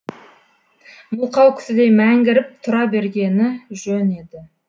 мылқау кісідей мәңгіріп тұра бергені жөн еді